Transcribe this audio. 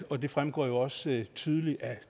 og det fremgår også tydeligt af